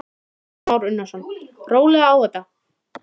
Kristján Már Unnarsson: Rólega á þetta?